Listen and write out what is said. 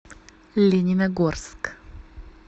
лениногорск